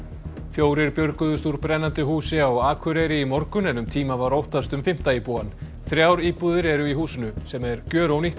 fjórir björguðust úr brennandi húsi á Akureyri í morgun en um tíma var óttast um fimmta íbúann þrjár íbúðir eru í húsinu sem er